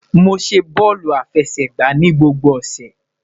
Mo ṣe bọọlu afẹsẹgba ni gbogbo ọsẹ